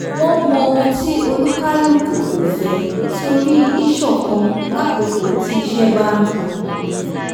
wọ́n mọ ohun tí olúkálùkò kò fẹ́ nítorí íṣọ̀kan lákókò tí iṣẹ́ bá ń pin